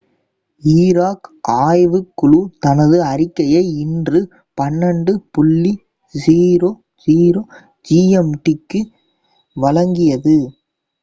Iraq ஆய்வுக் குழு தனது அறிக்கையை இன்று 12.00 gmt-க்கு வழங்கியது